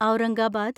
Aurangabad